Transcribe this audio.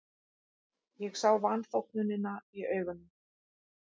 Ég sá vanþóknunina í augum